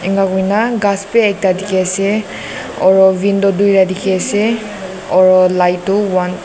enahoikena ghas bi ekta dikhi ase oro window duita dikhi ase oro light tu one .